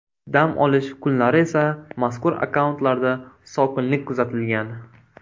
Dam olish kunlari esa mazkur akkauntlarda sokinlik kuzatilgan.